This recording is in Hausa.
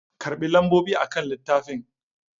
Karɓi lambobi akan littafin!